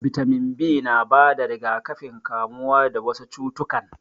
Bitamin B na bada rigakafin kamuwa dawasu cutukan